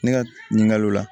Ne ka ɲininkali la